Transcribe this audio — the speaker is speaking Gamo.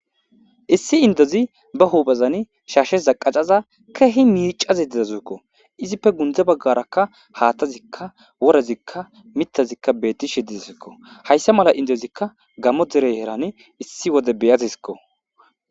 issi indozi ba huubazani shaashe zaqacaza kehi miicazi didasuukko izippe gundze baggarakka haattazikka worezikka mitazikka beetti shidi sikko hayssa mala indezikka gammo derey heran issi wode beyatisikko